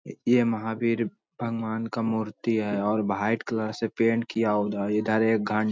ये-ये महवीर भगवान का मूर्ति है और व्हाइट कलर से पेंट किया उधर इधर एक घं --